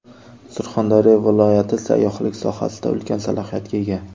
Surxondaryo viloyati sayyohlik sohasida ulkan salohiyatga ega.